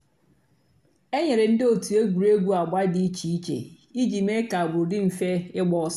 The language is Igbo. é nyéré ndị́ ótú ègwùrégwú àgbà dị́ ìchè ìchè ìjì méé kà àgbụ́rụ́ dị́ m̀fè ígbàsó.